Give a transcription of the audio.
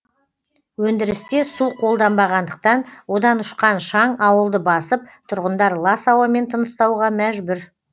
өндірісте су қолданбағандықтан одан ұшқан шаң ауылды басып тұрғындар лас ауамен тыныстауға мәжбүр